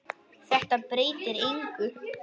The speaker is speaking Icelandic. Þetta breytir engu.